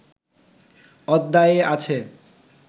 অধ্যায়ে আছে